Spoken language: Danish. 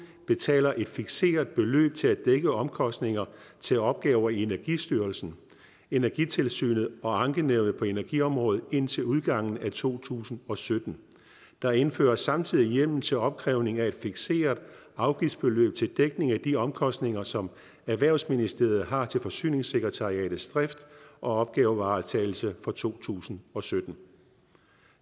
betaler et fikseret beløb til at dække omkostninger til opgaver i energistyrelsen energitilsynet og ankenævnet på energiområdet indtil udgangen af to tusind og sytten der indføres samtidig hjemmel til opkrævning af et fikseret afgiftsbeløb til dækning af de omkostninger som erhvervsministeriet har til forsyningssekretariatets drift og opgavevaretagelse for to tusind og sytten